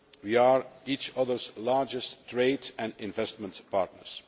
we are each other's largest trade and investment partners